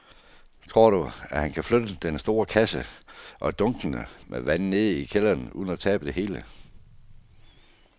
Tror du, at han kan flytte den store kasse og dunkene med vand ned i kælderen uden at tabe det hele?